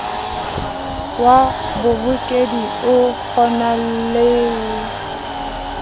wa bohokedi okgonang le o